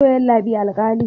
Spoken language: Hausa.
to yallabi alkali